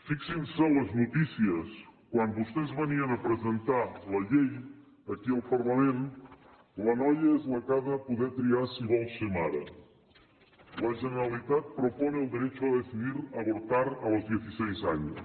fixin se les notícies quan vostès venien a presentar la llei aquí al parlament la noia és la que ha de poder triar si vol ser mare la generalitat propone el derecho a decidir abortar a los dieciséis años